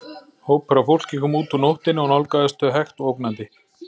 Hópur af fólki kom út úr nóttinni og nálgaðist þau hægt og ógnandi.